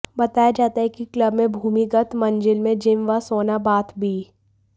बताया जाता है कि कलब में भूमिगत मंजिल में जिम व सोना बाथ भी